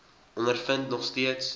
ondervind nog steeds